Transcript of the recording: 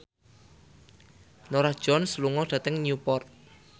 Norah Jones lunga dhateng Newport